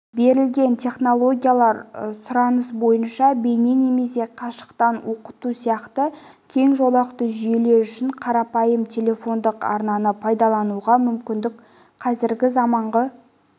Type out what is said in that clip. берілген технологиялар сұраныс бойынша бейне немесе қашықтықтан оқыту сияқты кең жолақты жүйелер үшін қарапайым телефондық арнаны пайдалануға мүкіндік қазіргі заманғы